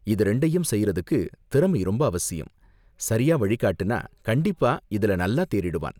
இத ரெண்டையும் செய்றதுக்கு திறமை ரொம்ப அவசியம், சரியா வழிகாட்டுனா கண்டிப்பா இதுல நல்லா தேறிடுவான்.